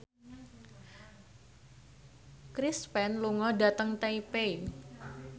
Chris Pane lunga dhateng Taipei